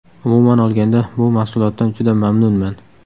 Umuman olganda bu mahsulotdan juda mamnunman.